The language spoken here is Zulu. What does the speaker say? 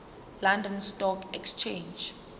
london stock exchange